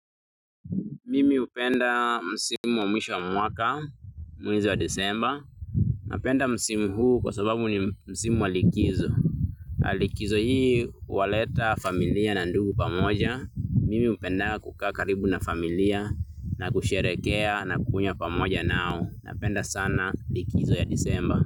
Mimi hupenda msimu wa mwisho wa mwaka mwezi wa Desemba. Napenda msimu huu kwa sababu ni msimu wa likizo. Na likizo hii huwaleta familia na ndugu pamoja. Mimi hupenda kukaa karibu na familia na kusherehekea na kunywa pamoja nao. Napenda sana likizo ya Desemba.